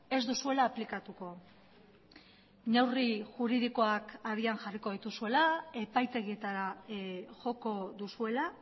ez duzuela aplikatuko neurri juridikoak habian jarriko dituzuela epaitegietara joko duzuela